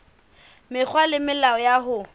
mekgwa le melao ya ho